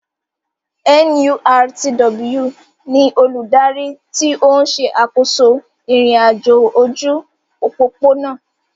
NURTW ni olùdarí tí ó ń ṣe àkóso ìrìn-àjò ojú òpópónà